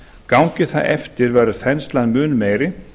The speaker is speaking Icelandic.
gangi það eftir verður þenslan mun meiri